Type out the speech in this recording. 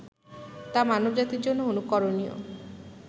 তা মানব জাতির জন্য অনুকরণীয়